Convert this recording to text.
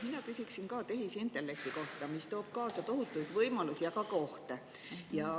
Mina küsin ka tehisintellekti kohta, mis toob kaasa tohutuid võimalusi, aga ka ohte.